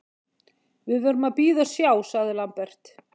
Við verðum að bíða og sjá, sagði Lambert.